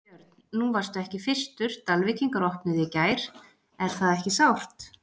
Björn: Nú varstu ekki fyrstur, Dalvíkingar opnuðu í gær, er það ekki sárt?